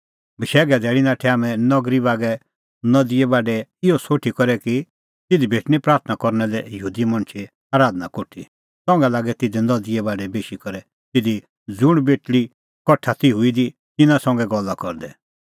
बशैघे धैल़ी नाठै हाम्हैं नगरी बागै नदीए बाढै इहअ सोठी करै कि तिधी भेटणीं प्राथणां करना लै यहूदी मणछे आराधना कोठी संघा लागै तिधी नदीए बाढै बेशी करै तिधी ज़ुंण बेटल़ी कठा ती हूई दी तिन्नां संघै गल्ला करदै